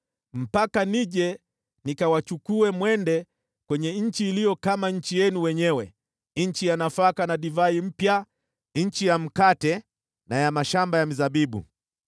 mpaka nije nikawapeleke katika nchi iliyo kama nchi yenu wenyewe, nchi ya nafaka na divai mpya, nchi ya mkate na ya mashamba ya mizabibu.